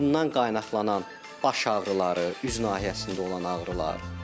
Bundan qaynaqlanan baş ağrıları, üz nahiyəsində olan ağrılar.